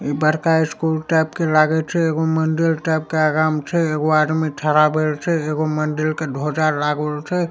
ई बड़का school type के लागै छे एगो मंदिर टाइप के आगा मे छे एगो आदमी ठरा भइल छे एगो मंदिर के ध्वजा लागल छे।